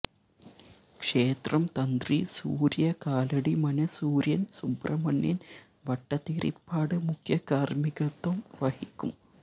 ക്ഷേത്രം തന്ത്രി സൂര്യകാലടി മന സൂര്യന് സുബ്രഹ്മണ്യന് ഭട്ടതിരിപ്പാട് മുഖ്യകാര്മ്മികത്വം വഹിക്കും